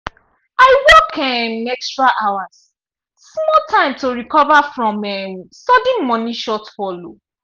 i work um extra hours small time to recover from um sudden money shortfall.